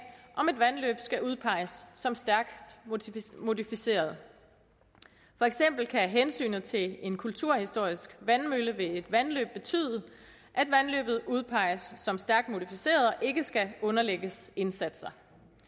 om et vandløb skal udpeges som stærkt modificeret for eksempel kan hensynet til en kulturhistorisk vandmølle ved et vandløb betyde at vandløbet udpeges som stærkt modificeret og ikke skal underlægges indsatser